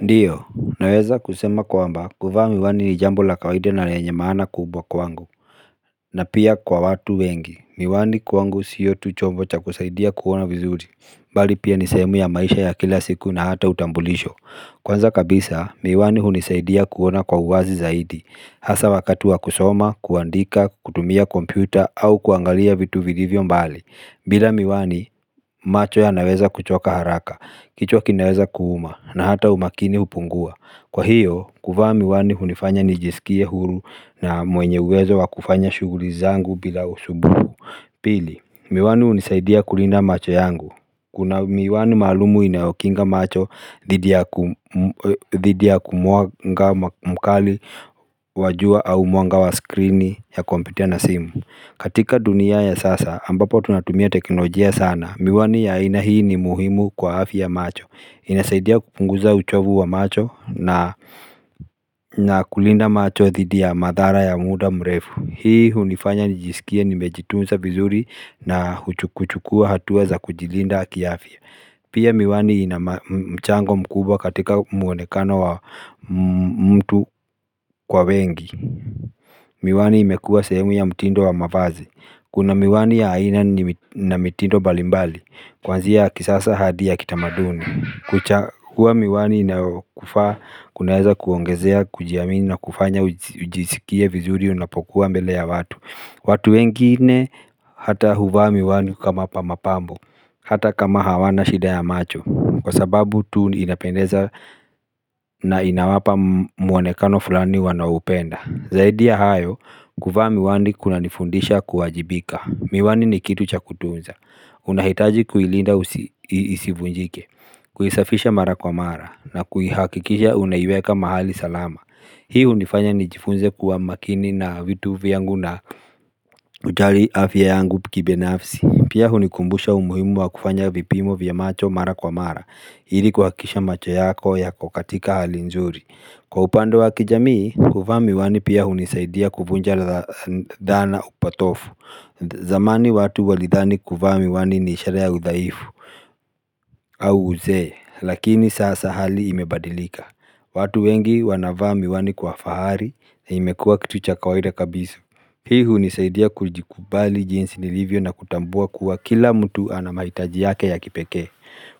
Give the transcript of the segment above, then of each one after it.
Ndiyo, naweza kusema kwamba, kuvaa miwani ni jambo la kawaida na lenye maana kubwa kwangu, na pia kwa watu wengi, miwani kwangu siyo tu chombo cha kusaidia kuona vizuri, bali pia ni sehemu ya maisha ya kila siku na hata utambulisho. Kwanza kabisa, miwani hunisaidia kuona kwa uwazi zaidi Hasaa wakati wa kusoma, kuandika, kutumia kompyuta au kuangalia vitu vilivyo mbali bila miwani, macho yanaweza kuchoka haraka, kichwa kinaweza kuuma na hata umakini hupungua Kwa hiyo, kuvaa miwani hunifanya nijisikie huru na mwenye uwezo wa kufanya shughuli zangu bila usumbufu Pili, miwani hunisaidia kulina macho yangu Kuna miwani maalumu inaokinga macho dhidi ya mwanga mkali wa jua au mwanga wa screen ya kompyuta na simu katika dunia ya sasa ambapo tunatumia teknolojia sana Miwani ya aina hii ni muhimu kwa afya ya macho inasaidia kupunguza uchovu wa macho na kulinda macho dhidi ya madhara ya muda mrefu Hii hunifanya nijisikie nimejitunza vizuri na kuchukua hatua za kujilinda kiafya Pia miwani ina mchango mkubwa katika muonekano wa mtu kwa wengi Miwani imekua sehemu ya mtindo wa mavazi Kuna miwani ya aina na mtindo mbalimbali Kwanzia ya kisasa hadi ya kitamaduni kuwa miwani inayokufaa, kunaeza kuongezea, kujiamini na kufanya ujisikie vizuri unapokuwa mbele ya watu watu wengine hata huvaa miwani kama mapambo Hata kama hawana shida ya macho Kwa sababu tu inapendeza na inawapa muonekano fulani wanaoupenda Zaidi ya hayo, kuvaa miwani kunanifundisha kuwajibika Miwani ni kitu cha kutunza unahitaji kuilinda isivunjike Kuisafisha mara kwa mara na kuhakikisha unaiweka mahali salama Hii hunifanya nijifunze kuwa makini na vitu vyangu na kujali afya yangu kibinafsi Pia hunikumbusha umuhimu wa kufanya vipimo vya macho mara kwa mara ili kuhakikisha macho yako yako katika hali nzuri Kwa upande wa kijamii, kuvaa miwani pia hunisaidia kuvunja dhaana patofu zamani watu walidhani kuvaa miwani ni sherehe ya udhaifu au uzee, lakini sasa hali imebadilika watu wengi wanavaa miwani kwa fahari na imekua kitu cha kawaida kabisa Hii hunisaidia kujikubali jinsi nilivyo na kutambua kuwa kila mtu ana mahitaji yake ya kipekee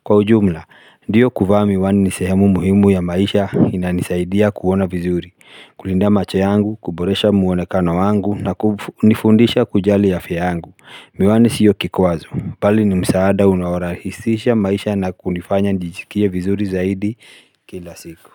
Kwa ujumla, ndiyo kuvaa miwani ni sehemu muhimu ya maisha inanisaidia kuona vizuri, kulinda macho yangu, kuboresha muonekana wangu na nifundisha kujali afya yangu. Miwani siyo kikwazo, pali ni msaada unaorahisisha maisha na kunifanya njijikia vizuri zaidi kila siku.